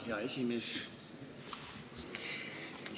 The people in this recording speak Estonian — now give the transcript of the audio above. Hea esimees!